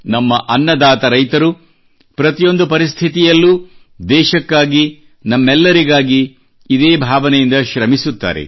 ನಮ್ಮ ಅನ್ನದಾತ ರೈತರು ಪ್ರತಿಯೊಂದು ಪರಿಸ್ಥಿತಿಯಲ್ಲೂ ದೇಶಕ್ಕಾಗಿ ನಮ್ಮೆಲ್ಲರಿಗಾಗಿ ಇದೇ ಭಾವನೆಯಿಂದ ಶ್ರಮಿಸುತ್ತಾರೆ